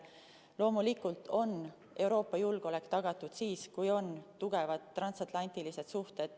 Loomulikult on Euroopa julgeolek tagatud siis, kui on tugevad transatlantilised suhted.